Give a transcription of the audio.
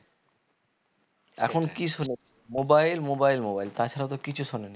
এখন কি শুনে mobile mobile mobile তাছাড়া তো কিছু শোনেনি